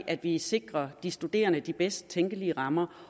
at vi sikrer at de studerende får de bedst tænkelige rammer